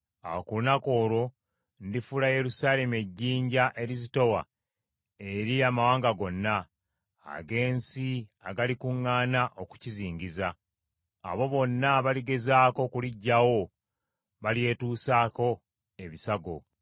Awo ku lunaku olwo ndifuula Yerusaalemi ejjinja erizitowa eri amawanga gonna, ag’ensi agalikuŋŋaana okukizingiza. Abo bonna abaligezaako okuliggyawo, balyetusaako ebisago.